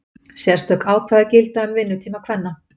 sérstök ákvæði gilda um vinnutíma kvenna